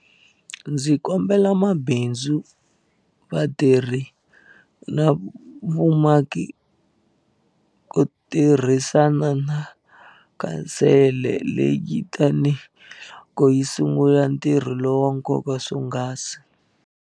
Ndzi kombela mabindzu, vatirhi na vumaki ku tirhisana na khansele leyi tanihiloko yi sungula ntirho lowa nkoka swonghasi.